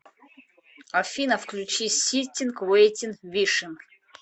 афина включи ситтинг вэйтинг вишинг